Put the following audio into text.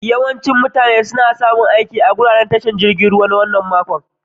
Yawancin mutane sun samu aiki a'wurin tashar jirigin ruwan wanan makon.